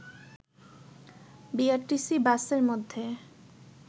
BRTC বাসের মধ্যে